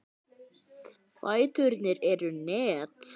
Fæturnir eru net.